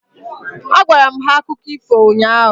Agwara m ha akụkọ ifo ụnyaahụ.